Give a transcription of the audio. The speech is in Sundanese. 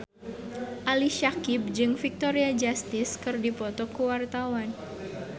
Ali Syakieb jeung Victoria Justice keur dipoto ku wartawan